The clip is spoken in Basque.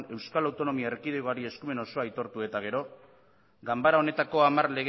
euskal autonomia erkidegoari eskumen osoa aitortu ondoren ganbara honetako hamar